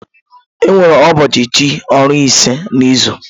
Enwere ụbọọchi chị ọrụ ise n'izu.